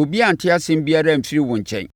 obiara ante nsɛm biara amfiri wo nkyɛn.